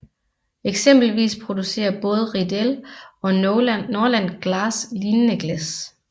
Eksempelvis producerer både Riedel og Norlan Glass lignende glas